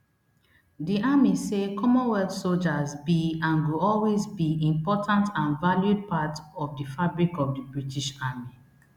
di army say commonwealth sojas be and go always be important and valued part of di fabric of di british army